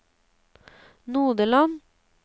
Nodeland